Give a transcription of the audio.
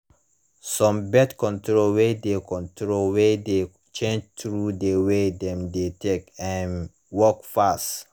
some birth control way de control way de change through the way dem de take um work fast